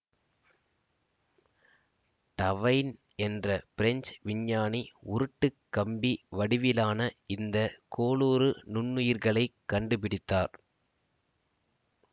டவைன் என்ற பிரெஞ்சு விஞ்ஞானி உருட்டுக் கம்பி வடிவிலான இந்த கோலுரு நுண்ணுயிர்களைக் கண்டுபிடித்தார்